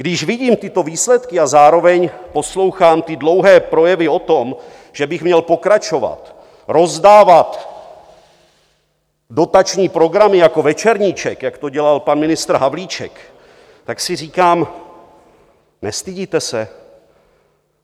Když vidím tyto výsledky a zároveň poslouchám ty dlouhé projevy o tom, že bych měl pokračovat, rozdávat dotační programy jako Večerníček, jak to dělal pan ministr Havlíček, tak si říkám: Nestydíte se?